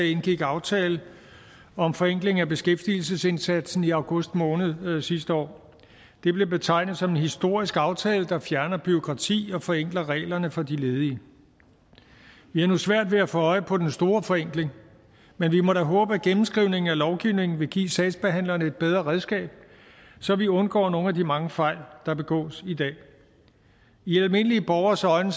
indgik aftale om forenkling af beskæftigelsesindsatsen i august måned sidste år det blev betegnet som en historisk aftale der ville fjerne bureaukrati og forenkle reglerne for de ledige vi har nu svært ved at få øje på den store forenkling men vi må da håbe at gennemskrivningen af lovgivningen vil give sagsbehandlerne et bedre redskab så vi undgår nogle af de mange fejl der begås i dag i almindelige borgeres øjne